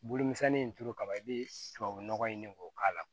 Bolomisɛnnin in turu kaba i bɛ tubabunɔgɔ ɲini k'o k'a la